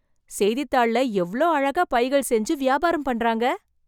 செய்தித்தாள்ள எவ்ளோ அழகா பைகள் செஞ்சு, வியாபாரம் பண்றாங்க...